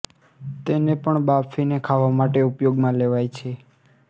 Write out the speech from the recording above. તેને પણ બાફીને ખાવા માટે ઉપયોગમાં લેવાય છે